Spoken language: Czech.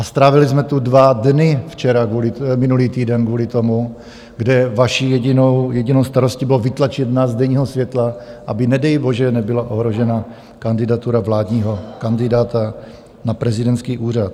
A strávili jsme tu dva dny minulý týden kvůli tomu, kde vaší jedinou starostí bylo vytlačit nás z denního světla, aby nedej bože nebyla ohrožena kandidatura vládního kandidáta na prezidentský úřad.